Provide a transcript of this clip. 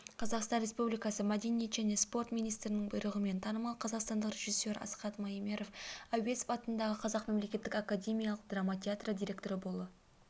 қазақстан республикасы мәдениет және спорт министрінің бұйрығымен танымал қазақстандық режиссер асхат маемиров әуезов атындағы қазақ мемлекеттік академиялық драма театры директоры болып